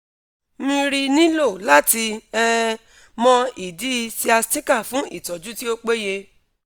mri nilo lati um mo idi sciatica fun itoju ti o peye